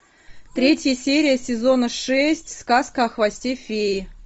третья серия сезона шесть сказка о хвосте феи